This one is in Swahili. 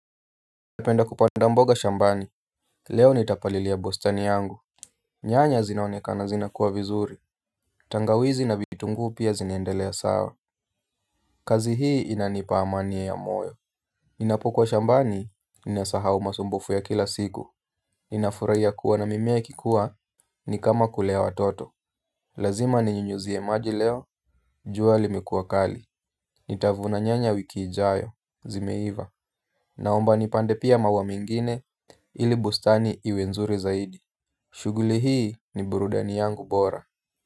Napenda kupanda mboga shambani. Leo nitapalilia bustani yangu. Nyanya zinaonekana zinakua vizuri. Tangawizi na vitunguu pia zinaendelea sawa. Kazi hii inanipa amani ya moyo. Ninapokuwa shambani ninasahau masumbufu ya kila siku ninafurahia kuona mimea ikikua ni kama kulea watoto. Lazima ni ninyunyizie maji leo. Jua limekuwa kali. Nitavuna nyanya wiki ijayo zimeiva. Naomba nipande pia maua mengine ili bustani iwe nzuri zaidi. Shughuli hii ni burudani yangu bora.